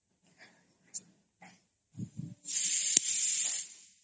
noise